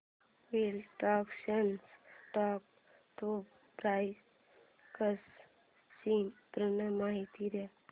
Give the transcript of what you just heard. wilderness dog food products ची पूर्ण माहिती दे